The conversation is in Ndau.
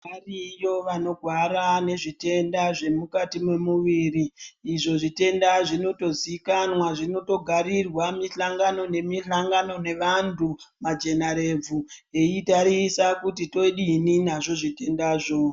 Variyo vanorwara ngezvitenda zvemukati mwemuviri izvo zvitenda zvinotiziikanwa zvinotogarirwa mihlongano nemihlangano nevantu majanarebvu eitarisa kuti todini nazvo zvitendazvo.